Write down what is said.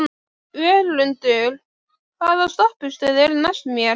Völundur, hvaða stoppistöð er næst mér?